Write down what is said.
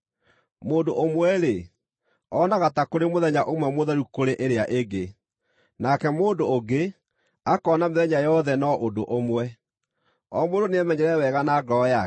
Mũndũ ũmwe-rĩ, onaga ta kũrĩ mũthenya ũmwe mũtheru kũrĩ ĩrĩa ĩngĩ; nake mũndũ ũngĩ akoona mĩthenya yothe no ũndũ ũmwe. O mũndũ nĩemenyere wega na ngoro yake.